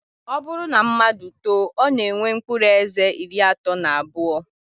Ọ bụrụ na mmadụ too, ọ na-enwe mkpụrụ eze iri atọ na abụọ